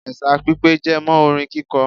Ẹ̀sà pipè jẹmọ́ orin kíkọ.